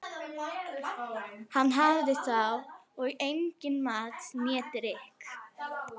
Hann hafði þá og engan mat né drykk.